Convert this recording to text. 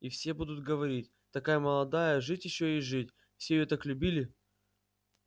и все будут говорить такая молодая жить ещё и жить все её так любили